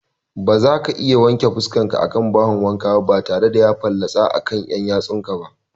Bazaka iya wanke fuskarka a bahon wanka batare da ya fallatsa maka akan ƴan ƴatsunsa ba